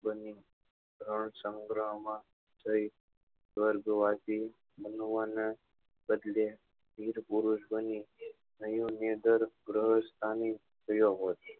સંગહ માં જઈ સ્વર્ગવાસી માનવા નાં બદલે વિરપુરુષો ની થયો હોત